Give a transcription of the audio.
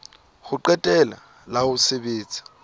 ho qetela la ho sebetsa